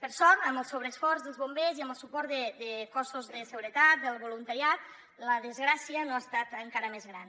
per sort amb el sobreesforç dels bombers i amb el suport de cossos de seguretat del voluntariat la desgràcia no ha estat encara més gran